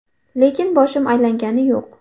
Lekin boshim aylangani yo‘q.